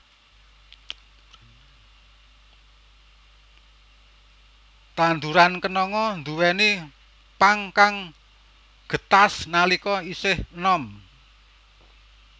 Tanduran kenanga nduwèni pang kang getas nalika isih enom